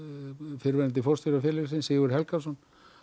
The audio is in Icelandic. fyrrverandi forstjóra félagsins Sigurð Helgason